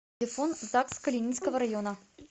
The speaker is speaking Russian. телефон загс калининского района